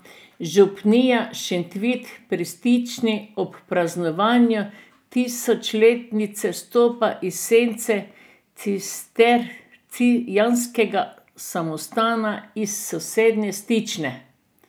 Župnija Šentvid pri Stični ob praznovanju tisočletnice stopa iz sence cistercijanskega samostana iz sosednje Stične.